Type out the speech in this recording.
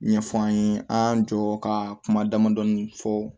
Ɲɛfɔ an ye an y'an jɔ ka kuma damadɔni fɔ